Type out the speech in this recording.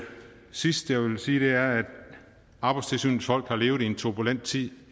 sidste jeg vil sige er at arbejdstilsynets folk har levet i en turbulent tid